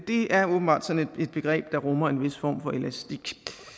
det er åbenbart sådan et begreb der rummer en vis form for elastik